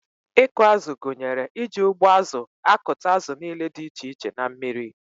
Ịkụ azụ gụnyere iji ụgbụazụ akụta azụ niile dị iche iche na mmiri.